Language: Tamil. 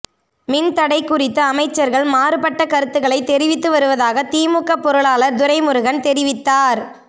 மின் தடை குறித்து அமைச்சர்கள் மாறுபட்ட கருத்துகளை தெரிவித்து வருவதாக திமுக பொருளாளர் துரைமுருகன் தெரிவித்தார்